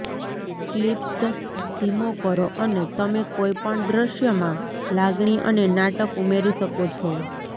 clips ધીમો કરો અને તમે કોઈપણ દ્રશ્યમાં લાગણી અને નાટક ઉમેરી શકો છો